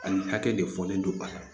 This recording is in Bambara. Ani hakɛ de fɔlen don baara